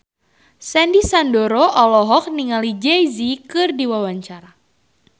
Sandy Sandoro olohok ningali Jay Z keur diwawancara